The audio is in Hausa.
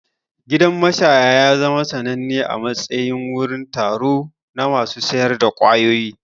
Gidan mashaya ya zama sananne a matsayin wurin taro na masu sayar da ƙwayoyi.